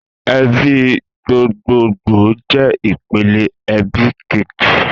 Èbí gbógbógbó jè ipélé èbí kéjí